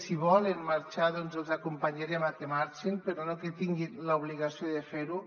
si volen marxar doncs els acompanya·rem perquè marxin però que no tinguin l’obligació de fer·ho